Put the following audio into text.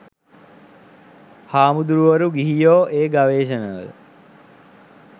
හාමුදුරුවරු ගිහියෝ ඒ ගවේශණවල